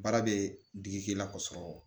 Baara bɛ digi k'i la k'a sɔrɔ